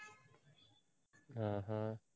ஹம் உம்